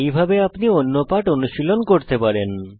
এইভাবে আপনি অন্য পাঠ অনুশীলণ করতে পারেন